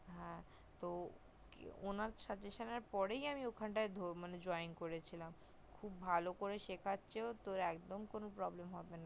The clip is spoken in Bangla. উনার suggestion পরই আমি ওখানটায় joint করেছিলামখুব এল করে শিখাচ্ছে তোর একদম কোনো problem হবে না